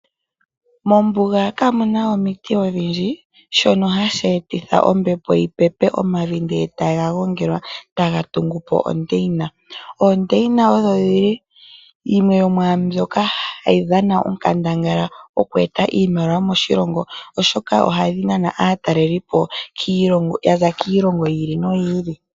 Mombuga kamu na omiti odhindji, shono hashi etitha ombepo yi pepe nokugongela omavi e taga tungu po ondeina. Oondeina odho dhimwe dho mwaambyoka hayi dhana onkandangala mokueta iimaliwa moshilongo, oshoka ohadhi nana aatalelipo okuza kiilongo yi ili noyi ili.